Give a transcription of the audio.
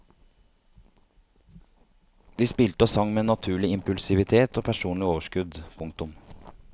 De spilte og sang med naturlig impulsivitet og personlig overskudd. punktum